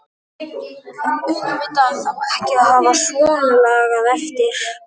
En auðvitað á ekki að hafa svonalagað eftir.